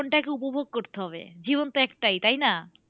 জীবনটাকে উপভোগ করতে হবে জীবন তো একটাই তাই না?